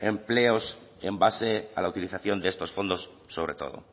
empleos en base a la utilización de estos fondos sobre todo